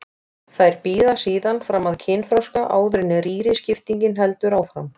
Þær bíða síðan fram að kynþroska áður en rýriskiptingin heldur áfram.